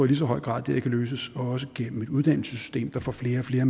lige så høj grad kan løses gennem et uddannelsessystem der får flere flere